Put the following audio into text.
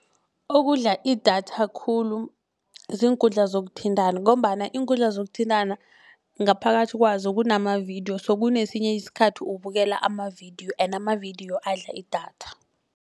Okudla idatha khulu ziinkundla zokuthintana ngombana iinkundla zokuthintana ngaphakathi kwazo kunamavidiyo so kunesinye isikhathi ubukela amavidiyo and amavidiyo adla idatha.